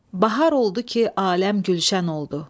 Bahar oldu ki, aləm gülşən oldu.